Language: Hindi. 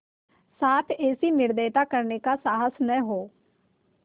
साथ ऐसी निर्दयता करने का साहस न हो